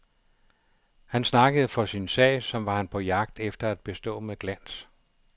Han snakkede for sin sag, som var han på jagt efter at bestå med glans.